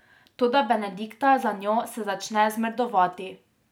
Toda Benedikta za njo se začne zmrdovati.